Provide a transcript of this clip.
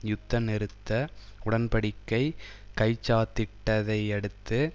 யுத்த நிறுத்த உடன் படிக்கை கைச்சாத்திட்டதையடுத்து